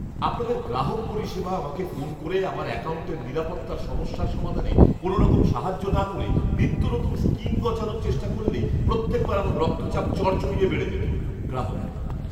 আপনাদের গ্রাহক পরিষেবা আমাকে ফোন করে আমার অ্যাকাউন্টের নিরাপত্তার সমস্যার সমাধানে কোনওরকম সাহায্য না করে নিত্যনতুন স্কিম গছানোর চেষ্টা করলেই প্রত্যেকবার আমার রক্তচাপ চড়চড়িয়ে বেড়ে যেত। গ্রাহক